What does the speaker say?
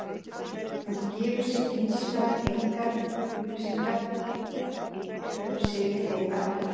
Hún gefur hins vegar engar upplýsingar um sig í þeim efnum.